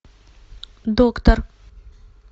доктор